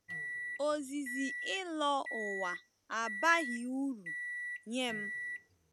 “Ozizi ịlọ ụwa abaghị uru nye m.